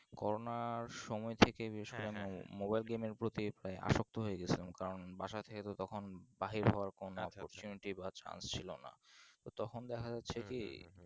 করণের সময় থেকে বেশ mobile game এর পতি প্রায় আসস্থ হয়ে গেছিলাম কারণ বাসাথেকে তো তখন বাহির হবার কোনো Opportunity বা Chance ছিলোনা তখন দেখা যাচ্ছে কি